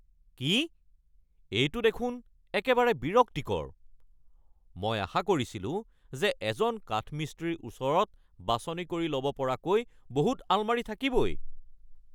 কি? এইটো দেখোন একেবাৰে বিৰক্তিকৰ! মই আশা কৰিছিলোঁ যে এজন কাঠমিস্ত্ৰীৰ ওচৰত বাছনি কৰি ল'ব পৰাকৈ বহুত আলমাৰী থাকিবই।